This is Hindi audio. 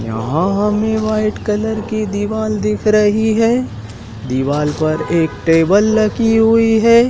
यहां हमें वाइट कलर की दीवाल दिख रही है दीवाल पर एक टेबल रखी हुई है।